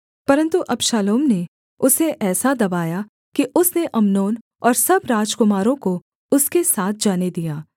परन्तु अबशालोम ने उसे ऐसा दबाया कि उसने अम्नोन और सब राजकुमारों को उसके साथ जाने दिया